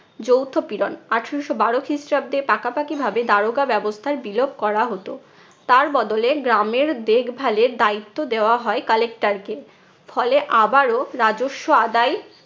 যৌথ পীড়ন। আঠারশো বারো খ্রিস্টাব্দে পাকাপাকি ভাবে দারোগা ব্যবস্থার বিলোপ করা হতো। তার বদলে গ্রামের দেখভালের দায়িত্ব দেওয়া হয় collector কে। ফলে আবারও রাজস্ব আদায়